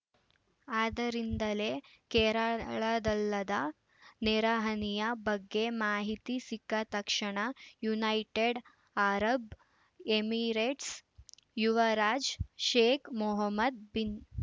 ಆದ್ದರಿಂದಲೇ ಕೇರಳದಲ್ಲಾದ ನೆರೆಹಾನಿಯ ಬಗ್ಗೆ ಮಾಹಿತಿ ಸಿಕ್ಕ ತಕ್ಷಣ ಯುನೈಟೆಡ್‌ ಅರಬ್‌ ಎಮಿರೇಟ್ಸ ಯುವರಾಜ ಶೇಕ್‌ ಮೊಹಮ್ಮದ್‌ ಬಿನ್‌